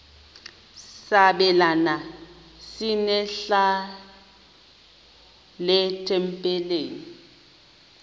sabelani zenihlal etempileni